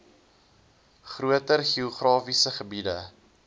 groter geografiese gebiede